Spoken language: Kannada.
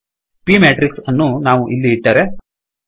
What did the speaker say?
p matrixಮೇಟ್ರಿಕ್ಸ್ ಅನ್ನು ನಾವು ಇಲ್ಲಿ ಇಟ್ಟರೆ